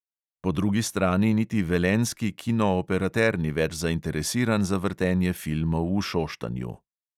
Po drugi strani niti velenjski kinooperater ni več zainteresiran za vrtenje filmov v šoštanju.